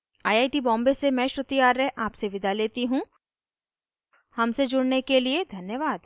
I I T Bombay से मैं श्रुति आर्य आपसे विदा लेती हूँ हमसे जुड़ने के लिए धन्यवाद